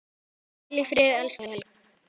Hvíl í friði, elsku Helga.